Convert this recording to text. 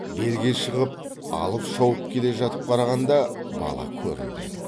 белге шығып алып шауып келе жатып қарағанда бала көрінбеді